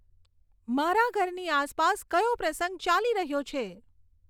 મારા ઘરની આસપાસ કયો પ્રસંગ ચાલી રહ્યો છે